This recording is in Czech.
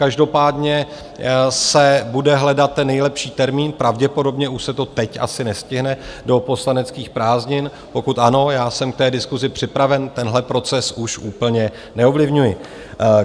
Každopádně se bude hledat ten nejlepší termín, pravděpodobně už se to teď asi nestihne do poslaneckých prázdnin, pokud ano, já jsem k té diskusi připraven, tenhle proces už úplně neovlivňuji.